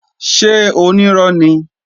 Ṣé onírọ́ ni?